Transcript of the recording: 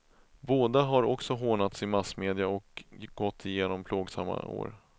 Både har också hånats i massmedia och gått igenom plågsamma år.